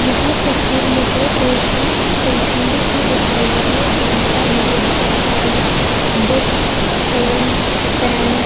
यहाँ पर फिर मुझे एक स्टेशनरी की दिखाई दे रही है जहाँ पर मुझे बहुत सारी बुक्स फोन पेन --